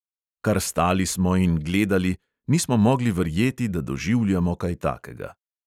Kar stali smo in gledali, nismo mogli verjeti, da doživljamo kaj takega.